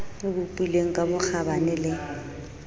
o bopilweng ka bokgabane le